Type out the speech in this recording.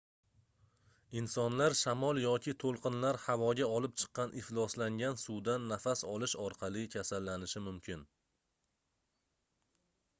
insonlar shamol yoki toʻlqinlar havoga olib chiqqan ifloslangan suvdan nafas olish orqali kasallanishi mumkin